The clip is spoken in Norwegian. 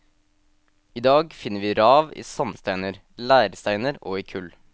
I dag finner vi rav i sandsteiner, leirsteiner og i kull.